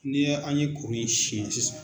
N'i an ye kuru in syanƐ sisan.